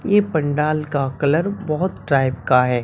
ये पंडाल का कलर बहोत टाइप का है।